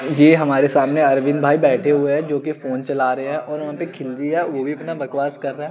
ये हमारे सामने अरविंद भाई बैठे हुए हैं जो कि फोन चला रहे हैं और वहां पे खिलजी हैं वो भी अपना बकवास कर रहा--